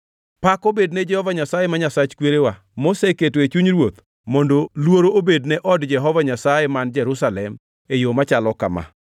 Pak obed ne Jehova Nyasaye, ma Nyasach kwerewa, moseketo e chuny ruoth mondo luor obed ne od Jehova Nyasaye man Jerusalem e yo machalo kama